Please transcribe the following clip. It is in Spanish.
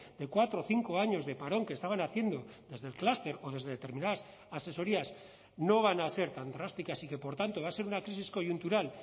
de cuatro o cinco años de parón que estaban haciendo desde el cluster o desde determinadas asesorías no van a ser tan drásticas y que por tanto va a ser una crisis coyuntural